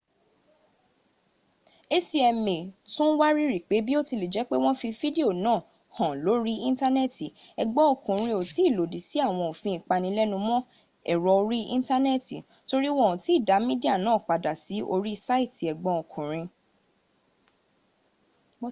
acma tun wariri pe biotilejepe won fi fidio naa han lori intaneeti egbon okunrin o tii lodi si awon ofin ipalenumo ero ori intaneeti tori won o ti da midia naa pada si ori saiti egbon okunrin